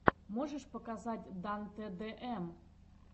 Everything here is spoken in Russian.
можешь показать дан тэ дэ эм